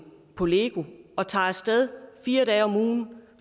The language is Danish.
på lego og tager af sted fire dage om ugen